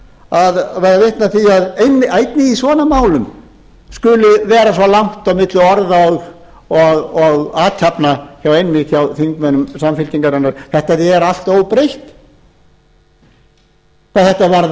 að verða vitni að því að einnig í svona málum skuli vera svo langt á milli orða og athafna einmitt hjá þingmönnum samfylkingarinnar þetta er allt óbreytt hvað þetta varðar